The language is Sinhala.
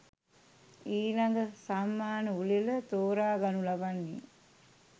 ඊළඟ සම්මාන උළෙල තෝරා ගනු ලබන්නේ